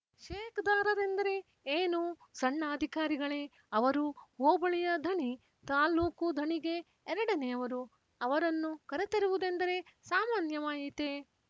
shake ದಾರರೆಂದರೆ ಏನು ಸಣ್ಣ ಅಧಿಕಾರಿಗಳೆ ಅವರು ಹೋಬಳಿಯ ಧಣಿ ತಾಲ್ಲೂಕು ಧಣಿಗೆ ಎರಡನೆಯವರು ಅವರನ್ನು ಕರೆತರುವುದೆಂದರೆ ಸಾಮಾನ್ಯವಾಯಿತೇ